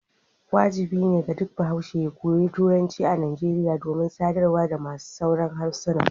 wajibi ne ga duk bahaushe ya koyi Turanci a Nigeria domin sadarwa da masu sauran harsuna.